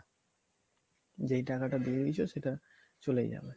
যেই টাকাটা দিয়ে দিছো সেটা চলে যাবে